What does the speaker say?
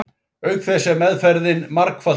Auk þess er meðferðin margfalt dýrari.